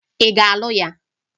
Ị gaghị alụ ya!